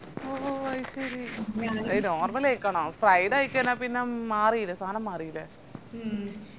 ഓ അയ്ശേരി normal കയ്ക്കണം fried ആയി കയിഞ്ഞ പിന്ന മാറില്ലേ സാനം മാറില്ലേ